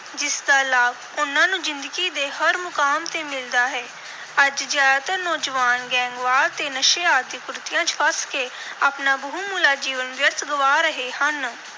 ਜਿਸ ਦਾ ਲਾਭ ਉਨ੍ਹਾਂ ਨੂੰ ਜ਼ਿੰਦਗੀ ਦੇ ਹਰ ਮੁਕਾਮ ਤੇ ਮਿਲਦਾ ਹੈ। ਅੱਜ ਜ਼ਿਆਦਾਤਰ ਨੌਜਵਾਨ ਗੈਂਗਵਾਰ ਤੇ ਨਸ਼ੇ ਆਦਿ ਕੁਰੀਤੀਆਂ ਚ ਫਸ ਕੇ ਆਪਣਾ ਬਹੁਮੁੱਲਾ ਜੀਵਨ ਵਿਅਰਥ ਗਵਾ ਰਹੇ ਹਨ।